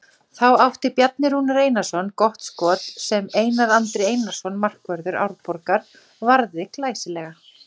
Þá átti Bjarni Rúnar Einarsson gott skot sem Einar Andri Einarsson markvörður Árborgar varði glæsilega.